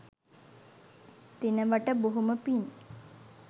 දෙනවට බොහොම පින්